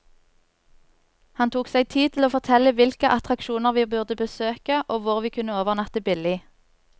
Han tok seg tid til å fortelle hvilke attraksjoner vi burde besøke, og hvor vi kunne overnatte billig.